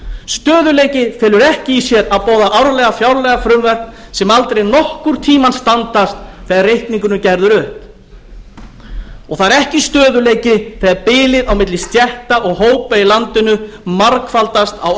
stöðugleiki felur ekki í sér að boða árlega fjárlagafrumvörp sem aldrei nokkurn tíma standast þegar reikningurinn er gerður upp og það er ekki stöðugleiki þegar bilið á milli stétta og hópa í landinu margfaldast á